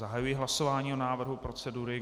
Zahajuji hlasování o návrhu procedury.